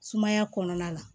Sumaya kɔnɔna la